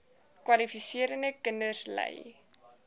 kwalifiserende kinders ly